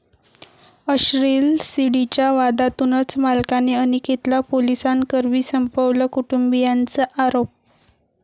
अश्लील सीडी'च्या वादातूनच मालकाने अनिकेतला पोलिसांकरवी संपवलं, कुटुंबियांचा आरोप